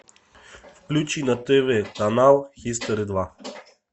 включи на тв канал хистори два